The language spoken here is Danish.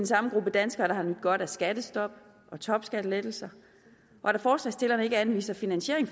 samme gruppe danskere der har nydt godt af skattestop og topskattelettelser og da forslagsstillerne ikke anviser finansiering